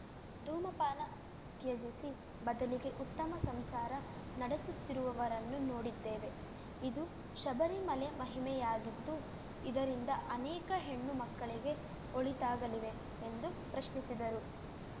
ಧೂಮಪಾನ ತ್ಯಜಿಸಿ ಬದಲಿಗೆ ಉತ್ತಮ ಸಂಸಾರ ನಡೆಸುತ್ತಿರುವವರನ್ನು ನೋಡಿದ್ದೇವೆ ಇದು ಶಬರಿಮಲೆ ಮಹಿಮೆಯಾಗಿದ್ದು ಇದರಿಂದ ಅನೇಕ ಹೆಣ್ಣು ಮಕ್ಕಳಿಗೆ ಒಳಿತಾಗಲಿವೆ ಎಂದು ಪ್ರಶ್ನಿಸಿದರು